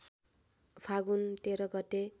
फागुन १३ गते